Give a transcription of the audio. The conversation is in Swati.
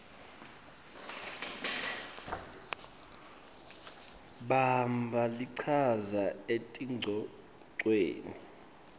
bamba lichaza etingcocweni